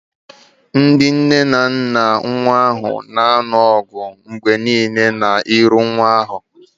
Ndị nne na nna nwa ahụ na-alụ ọgụ mgbe niile n'ihu nwa ahụ